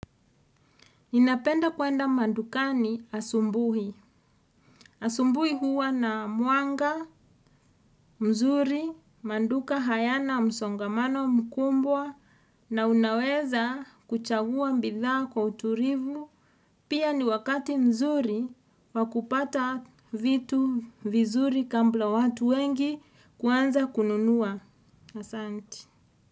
Ninapenda kuenda mandukani asubuhi. Asubuhi huwa na mwanga mzuri, maduka hayana msongamano mkumbwa na unaweza kuchagua bidhaa kwa utulivu. Pia ni wakati mzuri wakupata vitu vizuri kabla watu wengi kuanza kununuwa. Asanti.